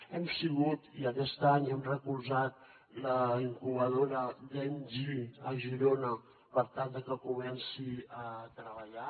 hem sigut i aquest any hem recolzat la incubadora gamegi a girona per tal de que comenci a treballar